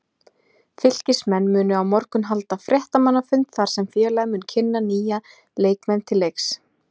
Fylkismenn munu á morgun halda fréttamannafund þar sem félagið mun kynna nýja leikmenn til leiks.